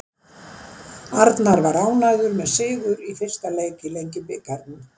Arnar var ánægður með sigur í fyrsta leik í Lengjubikarnum.